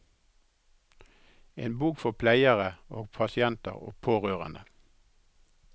En bok for pleiere og pasienter og pårørende.